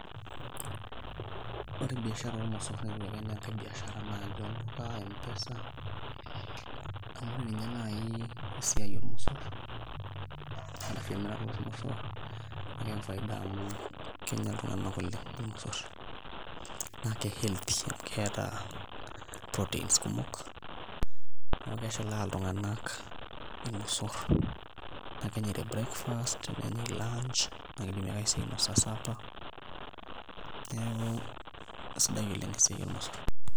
Ore biashara ormosorr naa ketiu ake naai enaa enkai biashare ake, olduka, M-pesa amu ore ninye naai esiai ormosorr arashu emirata ormosorr naa keyau faida amu kenya iltung'anak oleng' irmosorr naa ke healthy amu keeta proteins kumok neeku keshilaa iltug'anak irmosoor naa kenyai te breakfast, nenyai lunch naa kidimi ake sii ainasa supper, neeku kesidai oleng' esiai ormosorr.